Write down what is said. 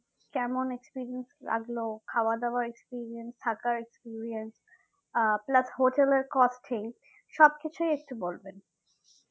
কেমন experience লাগলো খাওয়া দাওয়ার experience থাকার experience আহ plus হোটেলের cost কি সবকিছই একটু বলবেন